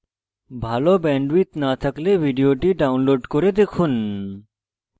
ভাল bandwidth না থাকলে ভিডিওটি download করে দেখুন